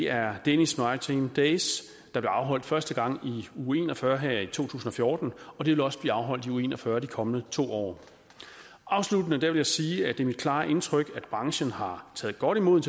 er danish maritime days der blev afholdt første gang i uge en og fyrre her i to tusind og fjorten de vil også blive afholdt i uge en og fyrre her i de kommende to år afsluttende vil jeg sige at det er mit klare indtryk at branchen har taget godt imod